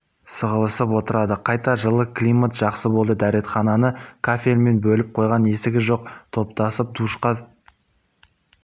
сығылысып отырады қайта жылы климат жақсы болды дәретхананы кафельмен бөліп қойған есігі жоқ топтасып душқа